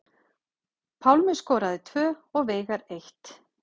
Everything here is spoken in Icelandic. Pálmi skoraði tvö og Veigar eitt